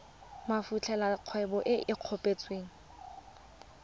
fetolela kgwebo e e kopetswengcc